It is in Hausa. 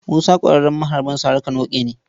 Musa ƙwararren maharbin sari-ka-noƙe ne.